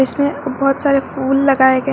इसमें बहुत सारे फूल लगाए गए हैं।